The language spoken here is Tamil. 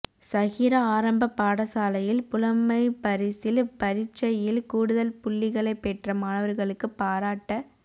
ஸஹிரா ஆரம்பப் பாடசாலையில் புலமைப்பரிசில் பரீட்சையில் கூடுதல் புள்ளிகளைப் பெற்ற மாணவர்களுக்கு பாராட்ட